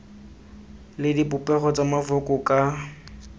le dipopego tsa mafoko ka